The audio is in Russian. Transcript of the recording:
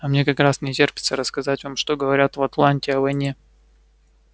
а мне как раз не терпится рассказать вам что говорят в атланте о войне